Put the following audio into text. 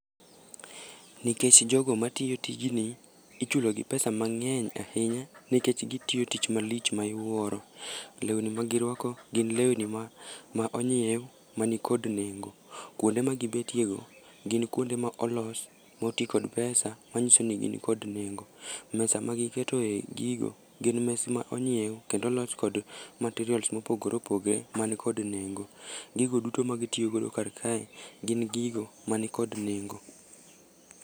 Nikech jogo matiyo tijni ichulo gi pesa mangény ahinya nikech gitiyo tich malich ma iwuoro. Lewni ma girwako, gin lewni ma, ma onyiew, mani kod nengo. Kuonde magibetiego, gin kuonde ma olos, mo ti kod pesa manyisoni gin kod nengo. Mesa ma giketoe gigo, gin mes ma onyiew, kendo olos kod materials mopogore opogore mani kod nengo. Gigo duto ma gitiyogodo karkae gin gigo mani kod nengo.